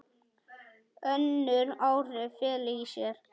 Önnur áhrif fela í sér